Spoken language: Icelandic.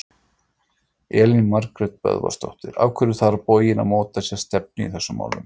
Elín Margrét Böðvarsdóttir: Af hverju þarf borgin að móta sér stefnu í þessum málum?